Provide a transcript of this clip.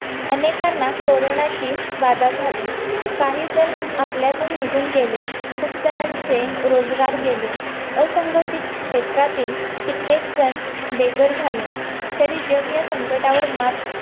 अनेकांना कोरोनाची बाधा झाली काही जण आपल्यातून निघून गेले खूप जणांचे रोजगार गेले असंघटित क्षेत्रातील कित्येक जण बघर झाले तरी जग ह्या संकटावर मात करून